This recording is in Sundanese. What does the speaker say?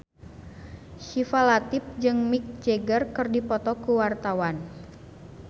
Syifa Latief jeung Mick Jagger keur dipoto ku wartawan